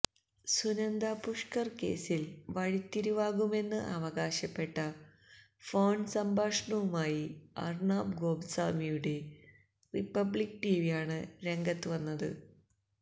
സുനന്ദ പുഷ്കർ കേസിൽ വഴിത്തിരിവാകുമെന്ന് അവകാശപ്പെട്ട ഫോൺസംഭാഷണവുമായി അർണബ് ഗോസ്വാമിയുടെ റിപ്പബ്ലിക് ടിവിയാണ് രംഗത്ത് വന്നത്